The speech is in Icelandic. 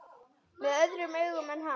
Með öðrum augum en hans.